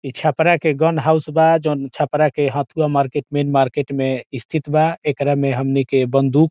इ छपरा के gun house बा जवन छपरा के हथुआ मार्केट में मार्केट में स्थित बा एकरा में हमनी के बंदूक --